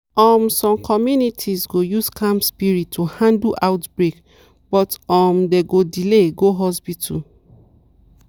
um some communities go use calm spirit to handle outbreak but um dem go delay go hospital.